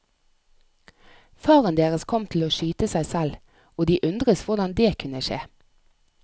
Faren deres kom til å skyte seg selv, og de undres hvordan dét kunne skje.